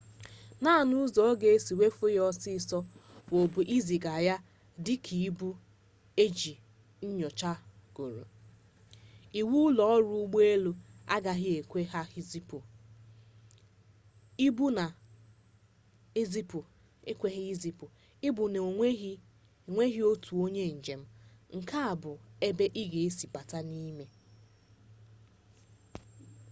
naanị ụzọ a ga-esi ewefe ya ọsịịsọ wụbụ iziga ya dị ka ibu e nyochagoro iwu ụlọọrụ ụgbọelu agaghị ekwe ha izipụ ibu na-enweghị otu onye njem nke bụ ebe ị ga-esi bata n'ime